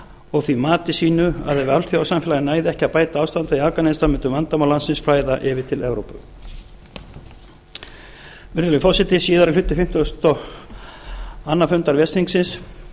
og því mati sínu að ef alþjóðasamfélagið næði ekki að bæta ástandið í afganistan mundu vandamál landsins flæða yfir til evrópu virðulegi forseti síðari hluti fimmtugasta og annars fundar